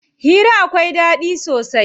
Hira akwai ɗaɗi sosai.